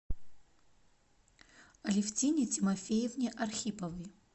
алевтине тимофеевне архиповой